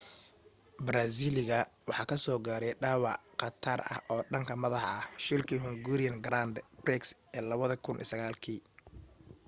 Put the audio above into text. baraasiiliga waxa kasoo gaaray dhaawac khatara oo dhanka madaxa ah shilkii hungarian grand prix ee 2009 kii